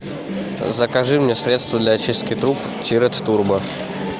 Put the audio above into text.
закажи мне средство для очистки труб тирет турбо